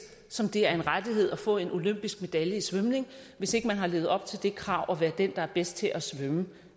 som det er en rettighed at få en olympisk medalje i svømning hvis ikke man har levet op til det krav at være den der er bedst til at svømme